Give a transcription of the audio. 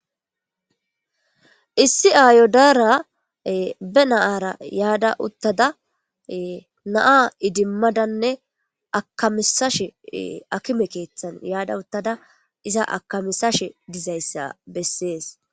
Issi ayo dara be na'ara yada utada na'a idimadanne akamisashe akime kethan yada utada iza akamisashe dizaysa beses